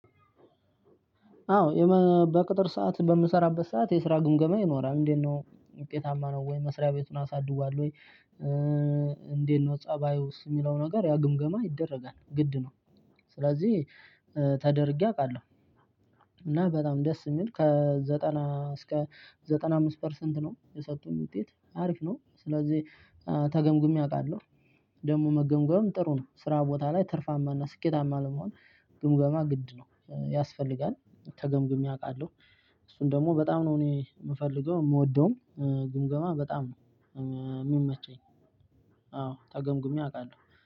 አዎ በቅጥር ሰዓት በምሰራበት ሰዓት የስራ ግምገማ ይኖራል እንዴት ነው ውጤታማ ነው ወይ መስሪያ ቤቱን አሳድጓል ወይ እንዴት ነው ፀባዩስ የሚለው ነገር ያው ግምገማ ይደረጋል ግድ ነው ስለዚህ ተደርጌ አውቃለሁ እና በጣም ደስ የሚል ከዘጠና እስከ ዘጠና አምስት ፐርሰንት ነው የሰጡኝ ውጤት አሪፍ ነው ስለዚህ ተገምግሜ አውቃለሁ ደግሞ መገምገም ጥሩ ነው። ስራ ቦታ ላይ ትርፋማ እና ስኬታማ ለመሆን ግምገማ ግድ ነው ያስፈልጋል። ተገምግሜ አውቃለሁ እሱን ደግሞ በጣም ነው እኔ የምፈልገው የምወደውም ግምገማ በጣም ነው የም የሚመቸኝ አዎ ተገምግሜ አውቃለሁ።